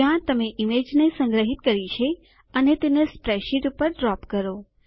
જ્યાં તમે ઈમેજને સંગ્રહીત કરી છે અને તેને સ્પ્રેડશીટ પર ડ્રોપ કરો